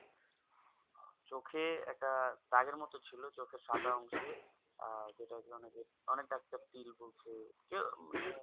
চোক একটা দাগের মতো ছিল চোখের সাদা অংশে আর অনেকে অনেক Doctor তিল বলছে কেউ মানে